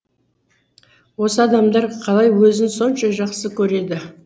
осы адамдар қалай өзін сонша жақсы көреді